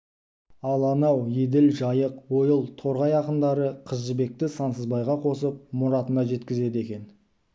ал анау еділ жайық ойыл торғай ақындары қыз жібекті сансызбайға қосып мұратына жеткізеді екен